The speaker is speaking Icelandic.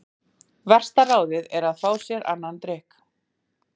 Versta ráðið er að fá sér annan drykk.